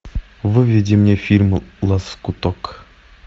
выведи мне фильм лоскуток